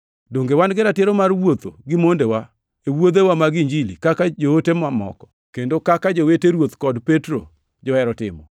Donge wan gi ratiro mar wuotho gi mondewa e wuodhewa mag Injili kaka joote mamoko, kendo kaka jowete Ruoth kod Petro johero timo?